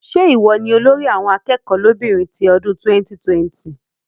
Ṣé ìwọ ni olórí àwọn akẹ́kọ̀ọ́ lóbìnrin ti ọdún 2020?